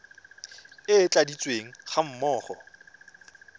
e e tladitsweng ga mmogo